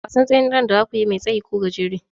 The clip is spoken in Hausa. Wasan tseren da zakuyi mai tsayi ko gajere?